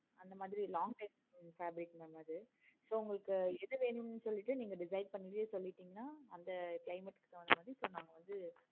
அந்த மாதிரி long time fabric mam அது so உங்களுக்கு எது வேணும்னு சொல்லிட்டு நீங்க decide பண்ணிட்டு சொல்லிட்டிங்கனா அந்த climate க்கு தகுந்த மாதிரி so நாங்க வந்து